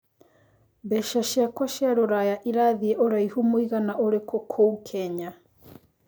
mbeca cĩakwa cia rũraya ĩrathĩe ũraihu mũigana ũrikũ kũ ũ Kenya